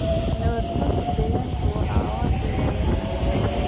Nabaad-guurka deegaanku waxa uu ka dhigaa mid adag.